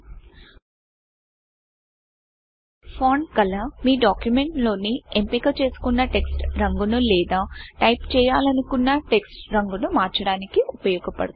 font Colorఫాంట్ colour మీ document లోని ఎంపిక చేసుకున్న టెక్స్ట్ రంగును లేదా టైపు చేయాలనుకున్న టెక్స్ట్ రంగును మార్చడానికి ఉపయోగపడుతుంది